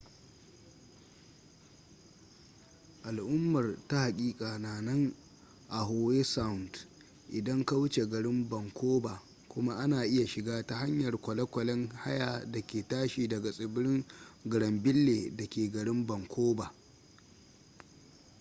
al'ummar ta hakika na nan a howe sound idan ka wuce garin vancouver kuma ana iya shiga ta hanyar kwalekwalen haya da ke tashi daga tsibirin granville dake garin vancouver